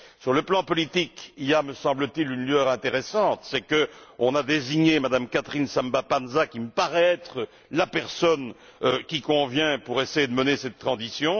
Sur le plan politique, il y a, me semble t il, une lueur intéressante, c'est la désignation de Mme Catherine Samba Panza, qui me paraît être la personne qui convient pour essayer de mener cette transition.